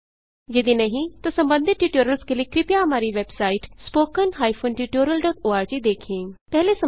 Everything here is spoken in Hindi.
यदि नहीं तो संबंधित ट्यूटोरियल्स के लिए कृपया हमारी वेबसाइट httpspoken tutorialorg देखें